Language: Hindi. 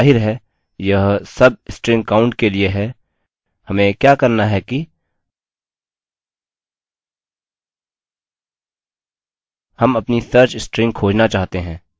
और जाहिर है यह substringcount के लिए है हमें क्या करना है कि हम अपनी search स्ट्रिंग खोजना चाहते हैं